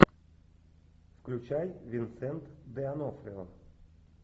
включай винсент де онофрио